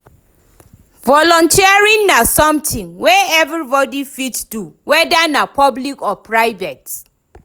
Volunteering na something wey everybody fit do, whether na public or private.